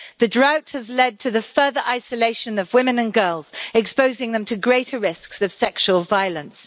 The drought has led to the further isolation of women and girls, exposing them to greater risks of sexual violence.